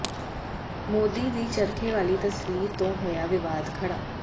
ਮੋਦੀ ਦੀ ਚਰਖੇ ਵਾਲੀ ਤਸਵੀਰ ਤੋਂ ਹੋਇਆ ਵਿਵਾਦ ਖੜ੍ਹਾ